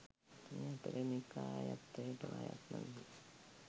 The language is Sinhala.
මේ අතර නිකායත්‍රයටම අයත් නොවී